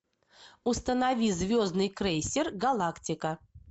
установи звездный крейсер галактика